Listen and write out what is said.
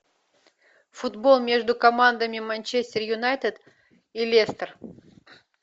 футбол между командами манчестер юнайтед и лестер